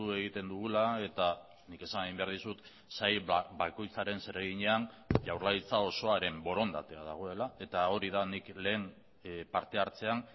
egiten dugula eta nik esan egin behar dizut sail bakoitzaren zereginean jaurlaritza osoaren borondatea dagoela eta hori da nik lehen parte hartzean